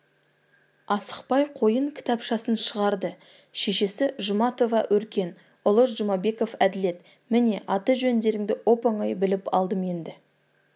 асықпай қойын кітапшасын шығарды шешесі жұматова өркен ұлы жұмабеков әділет міне аты-жөндеріңді оп-оңай біліп алдым енді